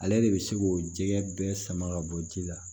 Ale de bɛ se k'o jɛgɛ bɛɛ sama ka bɔ ji la